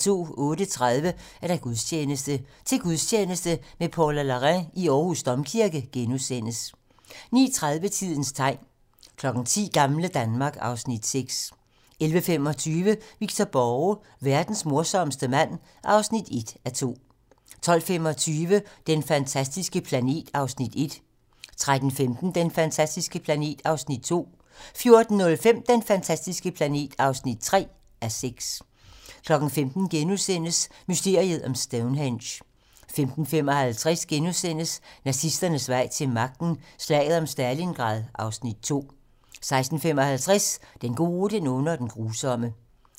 08:30: Gudstjeneste: Til gudstjeneste med Paula Larrain i Aarhus Domkirke * 09:30: Tidens tegn 10:00: Gamle Danmark (Afs. 6) 11:25: Victor Borge: Verdens morsomste mand (1:2) 12:25: Den fantastiske planet (1:6) 13:15: Den fantastiske planet (2:6) 14:05: Den fantastiske planet (3:6) 15:00: Mysteriet om Stonehenge * 15:55: Nazisternes vej til magten: Slaget om Stalingrad (Afs. 2)* 16:55: Den gode, den onde og den grusomme